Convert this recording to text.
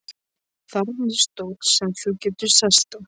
Þarna er stóll sem þú getur sest á.